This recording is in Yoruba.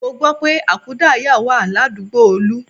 Mo gbọ́ pé àkúdáàyá wà ládùúgbò Olú